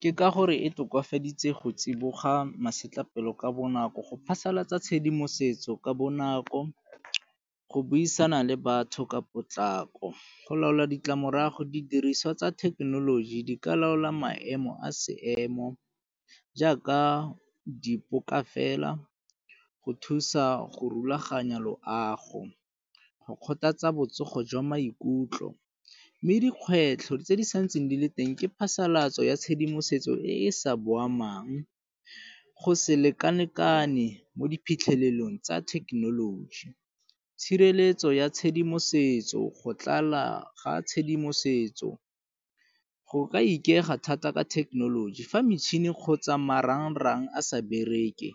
Ke ka gore e tokafaditse go tsiboga masetlapelo ka bonako go phasalatsa tshedimosetso ka bonako, go buisana le batho ka potlako. Go laola ditlamorago didiriswa tsa thekenoloji di ka laola maemo a seemo jaaka di poka fela go thusa go rulaganya loago, go kgothatsa botsogo jwa maikutlo. Mme dikgwetlho tse di sa ntseng di le teng ke phasalatso ya tshedimosetso e e sa boamang, go se leka-lekane mo di phitlhelelong tsa thekenoloji. Tshireletso ya tshedimosetso, go tlala ga tshedimosetso go ka ikaega thata ka thekenoloji fa metšhini kgotsa marang-rang a sa bereke,